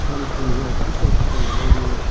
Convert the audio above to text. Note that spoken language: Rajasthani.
पानी पूनी है तिस्लान पट्टी लगयेड़ी है।